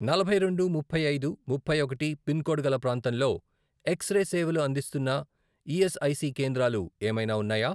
నలభై రెండు, ముప్పై ఐదు, ముప్పై ఒకటి , పిన్ కోడ్ గల ప్రాంతంలో ఎక్స్ రే సేవలు అందిస్తున్న ఈఎస్ఐసి కేంద్రాలు ఏమైనా ఉన్నాయా?